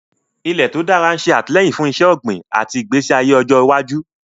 Ilẹ̀ tó dára yóò ṣe àtìlẹ́yìn fún iṣẹ́ ọ̀gbìn àti ìgbésí ayé ọjọ́ iwájú.